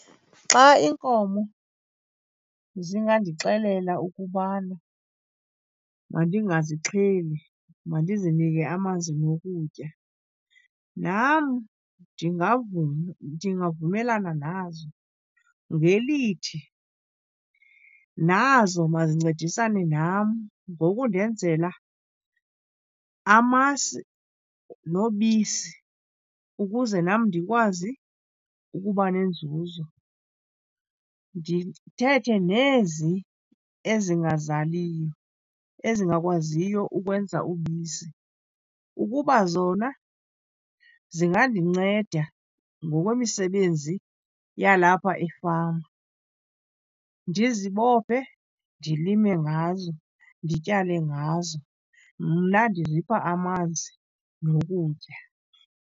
Xa iinkomo zingandixelela ukubana mandingazixheli, mandizinike amanzi nokutya, nam ndingavuma. Ndingavumelana nazo ngelithi, nazo mazincedisane nam ngokundenzela amasi nobisi ukuze nam ndikwazi ukuba nenzuzo. Ndithethe nezi ezingazaliyo, ezingakwaziyo ukwenza ubisi, ukuba zona zingandinceda ngokwemisebenzi yalapha efama, ndizibophe ndilime ngazo, ndityale ngazo. Mna ndizipha amanzi nokutya.